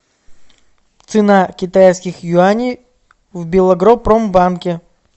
цена китайских юаней в белагропромбанке